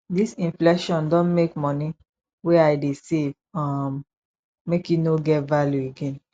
dis inflation don make moni wey i dey save um make e no get value again